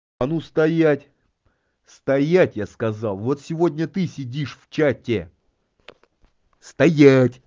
а ну стоять стоять я сказал вот сегодня ты сидишь в чате стоять